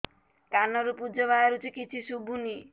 କାନରୁ ପୂଜ ବାହାରୁଛି କିଛି ଶୁଭୁନି